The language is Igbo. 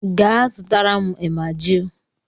Gaa, zụtara m emajili